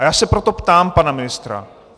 A já se proto ptám pana ministra.